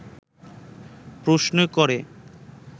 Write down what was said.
প্রশ্ন করে